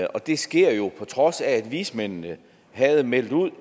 det sker jo på trods af at vismændene havde meldt ud